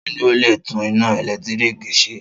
Ta ni ó le tún iná ẹ̀lẹ́tíríkì ṣe?